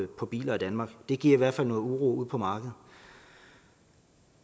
på biler i danmark det giver i hvert fald noget uro ude på markedet